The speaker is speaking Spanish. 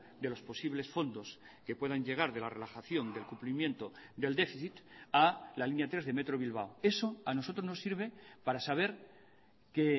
de los posibles fondos que puedan llegar de la relajación del cumplimiento del déficit a la línea tres de metro bilbao eso a nosotros nos sirve para saber que